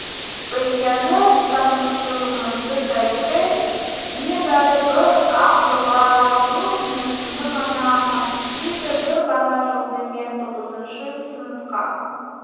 өйткені таныстығымызды тарихы небәрі бір-ақ жылға жуық мерзімді ғана қамтиды бір ғана жылды мен тоғызыншы сыныпқа